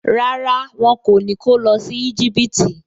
Rárá, wọn kò ní kó lọ sí Íjíbítì